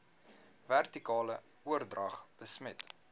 vertikale oordrag besmet